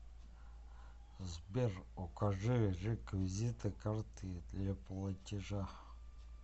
сбер укажи реквизиты карты для платежа